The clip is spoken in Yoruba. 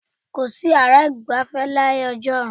Kò sí yàrá ìgbafẹ́ láyé ọjọ́un.